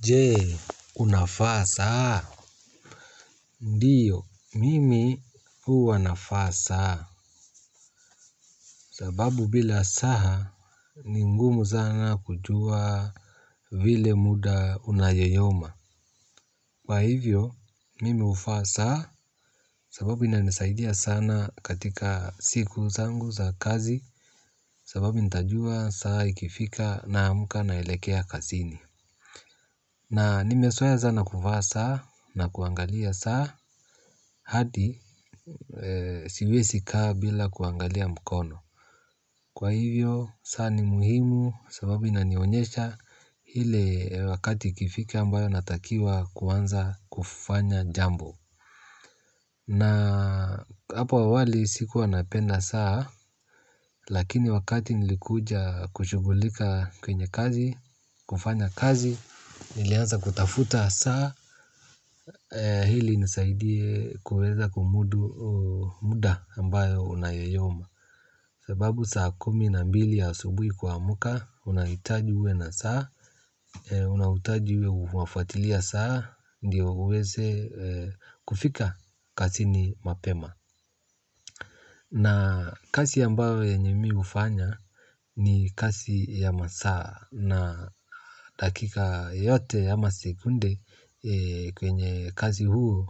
Je unavaa saa? Ndiyo mimi huwa navaa saa. Sababu bila saa ni ngumu sana kujua. Vile muda unayoyoma. Kwa hivyo mimi huvaa saa. Sababu inanisaidia sana katika siku zangu za kazi. Sababu nitajua saa ikifika naamka naelekea kazini. Na nimezoea sana kuvaa saa na kuangalia saa. Hadi siwezikaa bila kuangalia mkono. Kwa hivyo, saa ni muhimu. Sababu inanionyesha ile wakati ikifika ambayo natakiwa kuanza kufanya jambo. Na hapo awali sikuwa napenda saa. Lakini wakati nilikuja kushugulika kwenye kazi. Kufanya kazi nilianza kutafuta saa ili inisaidie kuweza kumudu muda ambao unayoyoma. Sababu saa kumi na mbili asubuhi kuamka, unahitaji uwe na saa, unahitaji uwe unafuatilia saa, ndiyo uweze kufika kazini mapema. Na kazi ambayo yenye mi hufanya ni kazi ya masaa na dakika yote ama sekunde kwenye kazi huu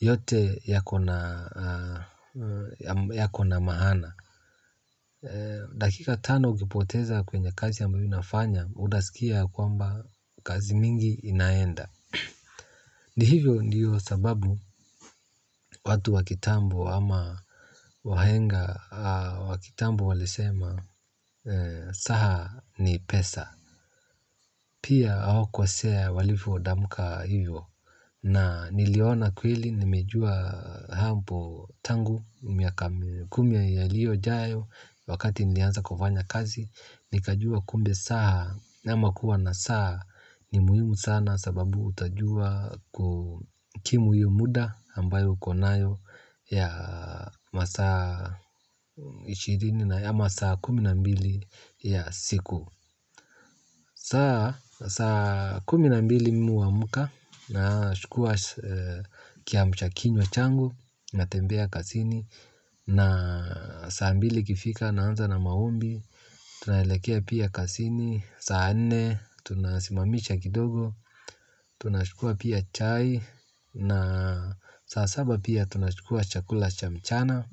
yote yako na maana. Dakika tano ukipoteza kwenye kazi ya ambayo unafanya, utaskia ya kwamba kazi mingi inaenda. Ni hivyo ndiyo sababu watu wa kitambo ama wahenga wa kitambo walisema saa ni pesa. Pia hawakukosea walivyotamka hivyo na niliona kweli nimejua hapo tangu miaka kumi ijayo wakati nilianza kufanya kazi. Nikajua kumbe saa ama kuwa na saa ni muhimu sana sababu utajua kukimu huo muda ambayo uko nayo ya masaa ishirini na ama saa kumi na mbili ya siku. Saa kumi na mbili mimi huamka nachukua kiamsha kinywa changu, natembea kazini, na saa mbili ikifika naanza na maombi, tunaelekea pia kazini, saa nne tunasimamisha kidogo, tunachukua pia chai, na saa saba pia tunachukua chakula cha mchana,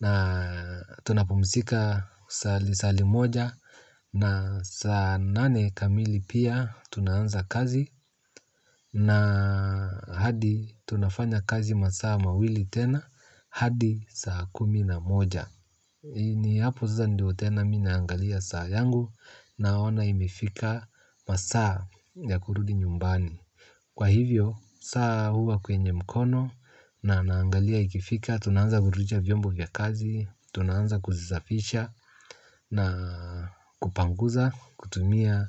na tunapumzika saa limoja, na saa nane kamili pia tunaanza kazi na hadi tunafanya kazi masaa mawili tena hadi saa kumi na moja ni hapo sasa ndio tena mi naangalia saa yangu naona imefika masaa ya kurudi nyumbani. Kwa hivyo, saa huwa kwenye mkono na naangalia ikifika. Tunaanza kurudusha vyombo vya kazi. Tunaanza kuzisafisha. Na kupanguza. Kutumia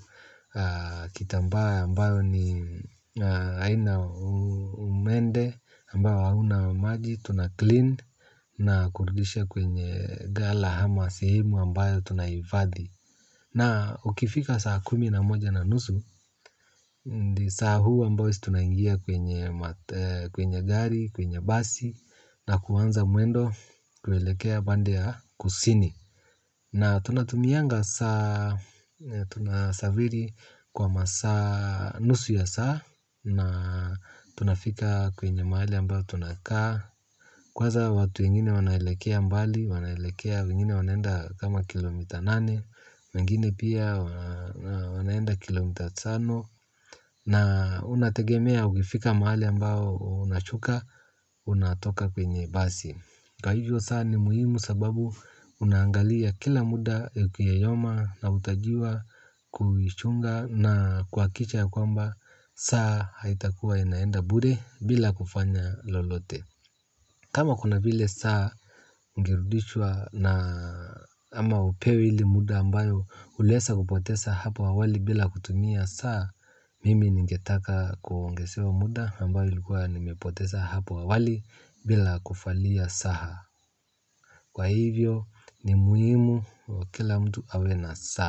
kitambaa ambayo ni haina umende ambayo hauna maji. Tunahi-clean na kurudusha kwenye ghala ama sehemu ambayo Tunahifadhi. Na ukifika saa kumi na moja na nusu. Ndio saa huu ambayo tunaingia kwenye gari. Kwenye basi na kuanza mwendo kuelekea pande ya kusini na tunatumianga saa tunasafiri kwa masaa nusu ya saa na tunafika kwenye mahali ambayo tunakaa kwanza watu wengine wanaelekea mbali wanaelekea wengine wanaenda kama kilomita nane wengine pia wanaenda kilomita tano na unategemea uifika mahali ambao unashuka unatoka kwenye basi. Kwa hivyo saa ni muhimu sababu unaangalia kila muda ukiyoyoma na utakiwa kuichunga na kuhakisha ya kwamba saa haitakuwa inaenda bure bila kufanya lolote. Kama kuna vile saa ingerudishwa na ama upewe ile muda ambayo uliweza kupoteza hapo awali bila kutumia saa mimi ningetaka kuongezewa muda ambayo ilikuwa nimepoteza hapo awali bila kuvalia saa. Kwa hivyo ni muhimu kwa kila mtu awe na saa.